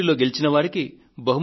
గాంధీ జయంతి రోజు